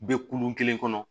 Bɛ kulon kelen kɔnɔ